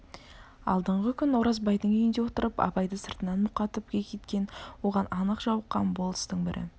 алдыңғы күн оразбайдың үйінде отырып абай-ды сыртынан мұқатып кекеткен оған анық жауыққан болыстың бірі